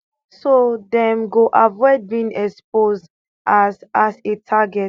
so dem go avoid being exposed as as a target